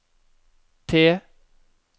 T